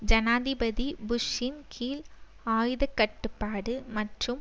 ஜனாதிபதி புஷ்ஷின் கீழ் ஆயுதக்கட்டுப்பாடு மற்றும்